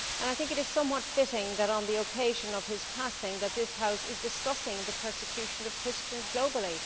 I think it is somewhat fitting that on the occasion of his passing this House is discussing the persecution of Christians globally.